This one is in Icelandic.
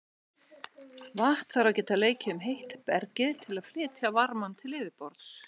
Vatn þarf að geta leikið um heitt bergið til að flytja varmann til yfirborðs.